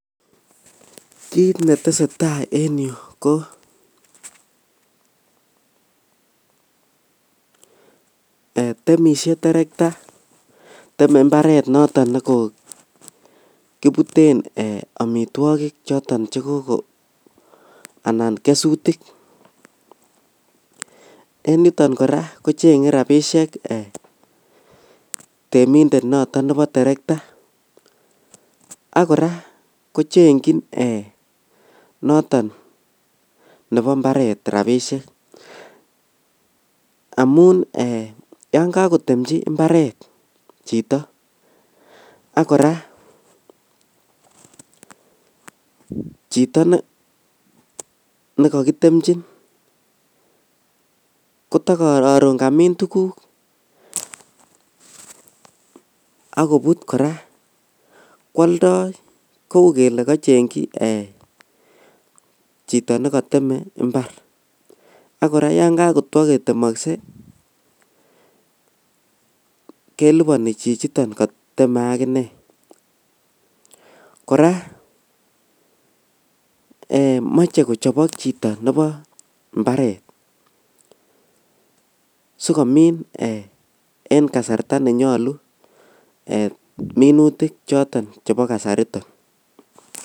Kit netesetaa en yu ko ee temishe terekta teme imbaret noton nekokibuten omitwogik choton chekoko anan kesutik en niton koraa kochenge fabishek temindet noton nebo terekta ak koraa kochenjin noto nebo mbaret rabishek amun ee yon kokotemchi imbaret chito ak koraa chito nekokotemchin kotokoron kamin tuguk ak kobut koraa kwoldoi kou kele kochengji ee chitonekoteme imbar ak koraa yon kokotwo kotemokse keliboni chichiton koteme akinee, koraa ee moche kochobok chito nebo imbaret sikomin ee en kasarta nenyolu ee minutik choton chebo kasariton